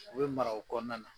U bɛ mara o kɔnɔna na.